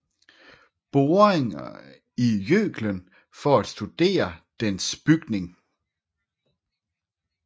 Boringer i Jøklen for at studere dens bygning